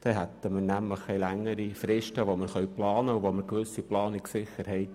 Dann hätten wir längere Planungsfristen und eine grössere Planungssicherheit.